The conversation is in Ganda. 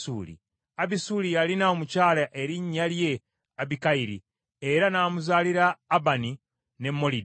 Abisuli yalina omukyala erinnya lye Abikayiri, era n’amuzaalira Abani ne Molidi.